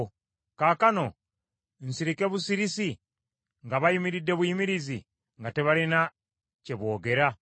Kaakano nsirike busirisi, nga bayimiridde buyimirizi, nga tebalina kye boogera?